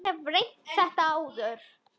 Ég hef reynt þetta áður.